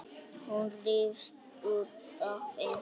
Hún rífst út af engu.